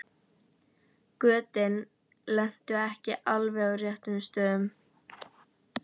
Götin lentu ekki á alveg réttum stöðum.